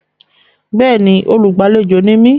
Bẹ́ẹ̀ni, olúgbàléjò ni mí.